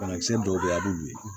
Banakisɛ dɔw bɛ yen a bɛ olu ye